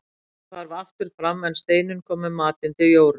Bóndinn hvarf aftur fram en Steinunn kom með matinn til Jóru.